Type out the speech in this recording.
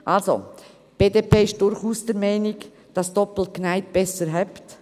Die BDP ist durchaus der Meinung, dass doppelt genäht besser hält.